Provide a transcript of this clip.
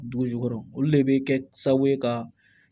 Dugu jukɔrɔ olu le be kɛ sababu ye ka